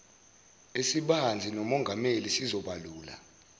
esibanzi nomongameli sizobalula